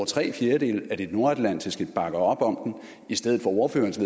tre fjerdedele af de nordatlantiske partier bakker op om i stedet for ordførerens